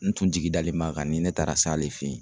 N tun jigi dalen bɛ kan ni n taara se ale fe yen